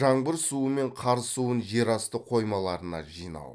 жаңбыр суы мен қар суын жер асты қоймаларына жинау